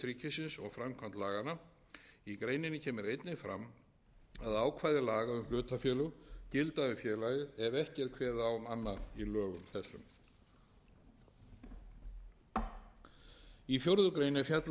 ríkisins og framkvæmd laganna í greininni kemur einnig fram að ákvæði laga um hlutafélög gilda um félagið ef ekki er kveðið á um annað í lögum þessum í fjórða grein er fjallað um stjórn